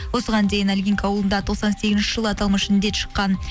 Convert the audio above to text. осыған дейін илгинка ауылында тоқсан сегізінші жылы аталмыш індет шыққан